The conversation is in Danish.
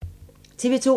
TV 2